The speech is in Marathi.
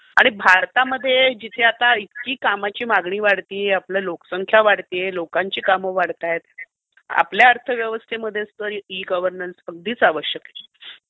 आणि भारतामध्ये जिथे आता इतकी कामाची मागणी वाढतेय, आपली लोकसंख्या वाढतेय, लोकांची कामं वाढतायेत, आपल्या अर्थव्यवस्थेमध्ये हे ई गव्हर्नन्स अगदीच आवश्यक आहे.